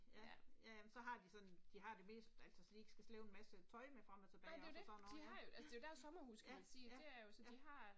Ja, ja ja, men så har de sådan, de har det meste altså så de ikke skal slæbe en masse tøj med frem og tilbage også og sådan noget, ja ja, ja, ja, ja